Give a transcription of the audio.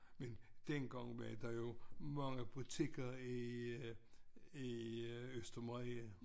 Men dengang var der jo mange butikker i i Østermarie